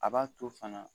A b'a to fana